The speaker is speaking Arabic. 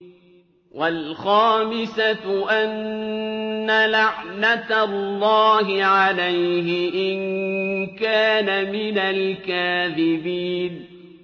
وَالْخَامِسَةُ أَنَّ لَعْنَتَ اللَّهِ عَلَيْهِ إِن كَانَ مِنَ الْكَاذِبِينَ